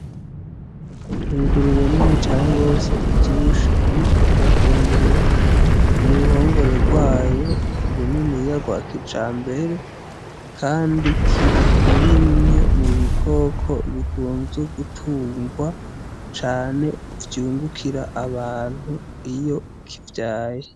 Ingurube nini cane gose ivyibushe iriko irafungurira muruhongore rwayo runiniya rwakijambere, kandi kiri muri bimwe mu bikoko bikunzwe gutungwa cane vyungukira abantu iyo kivyaye.